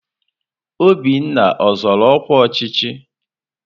Obinna ọzọrọ ọkwa ọchịchị?